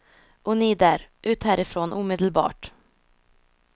Och ni där, ut härifrån omedelbart.